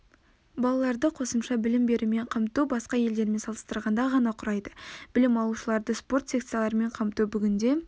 балаларды қосымша білім берумен қамту басқа елдермен салыстырғанда ғана құрайды білім алушыларды спорт секцияларымен қамту бүгінде